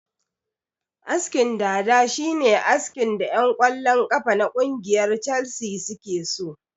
Askin dada shine askin da ƴan kwallon kafa na kungiyar calsi suke so